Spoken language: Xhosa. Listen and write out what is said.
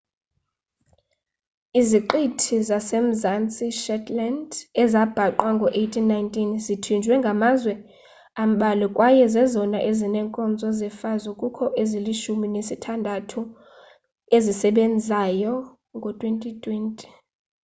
iziqithi zase-mzantsi shetland ezabhaqwa ngo-1819 zithinjiwe ngamazwe ambalwa kwaye zezona zinee nkonzo zefazo kukho ezilishumi nesithandathu ezisebenzayo ngo-2020